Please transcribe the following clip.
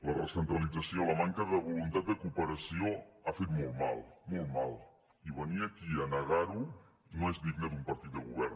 la recentralització la manca de voluntat de cooperació han fet molt mal molt mal i venir aquí a negar ho no és digne d’un partit de govern